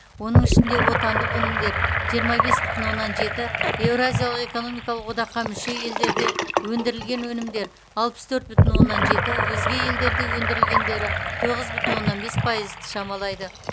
оның ішінде отандық өнімдер жиырма бес бүтін оннан жеті еуразиялық экономикалық одаққа мүше елдерде өндірілген өнімдер алпыс төрт бүтін оннан жеті өзге елдерде өндірілгендері тоғыз бүтін оннан бес пайызды шамалайды